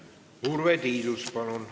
Urve Tiidus, palun!